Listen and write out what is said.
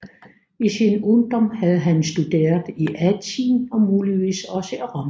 I sin ungdom havde han studeret i Athen og muligvis også i Rom